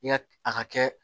I ka a ka kɛ